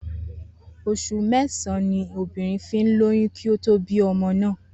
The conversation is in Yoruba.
Os̩ù mé̩sàn-án ni obìnrin fi ń lóyún kí ó tó bí o̩mo náà